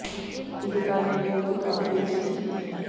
दीपिका ने भी उनकी काफी बेइज़्जती की थी